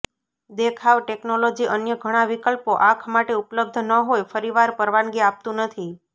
દેખાવ ટેકનોલોજી અન્ય ઘણા વિકલ્પો આંખ માટે ઉપલબ્ધ ન હોય ફરીવાર પરવાનગી આપતું નથી